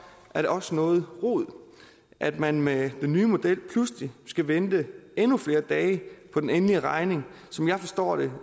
er det også noget rod at man med den nye model pludselig skal vente endnu flere dage på den endelige regning som jeg forstår det